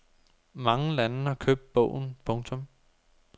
Mange lande har købt bogen. punktum